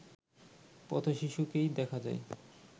পথ-শিশুকেই দেখা যায়